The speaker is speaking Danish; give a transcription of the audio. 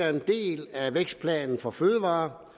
herre